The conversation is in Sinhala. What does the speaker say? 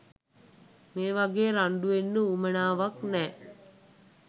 මේ වගේ රණ්ඩු වෙන්න උවමනාවක් නෑ